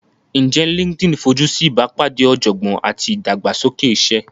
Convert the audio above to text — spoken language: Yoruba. Ǹjẹ́ LinkedIn fojú sí ìbápàdé ọ̀jọ̀gbọ́n àti ìdàgbàsókè iṣẹ́?